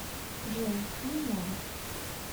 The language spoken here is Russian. джой немного